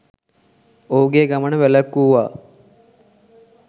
ඔහුගේ ගමන වැළැක්වුවා.